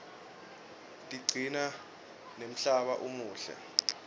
tigcina nemhlaba umuhle